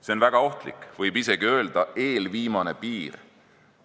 See on väga ohtlik, võib isegi öelda eelviimane piir.